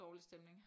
Dårlig stemning